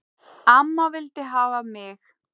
Amma vildi hafa mig.